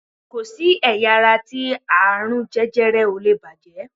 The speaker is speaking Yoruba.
Ko si ẹ̀yà ara ti aarun jẹjẹrẹ o lee bàjẹ́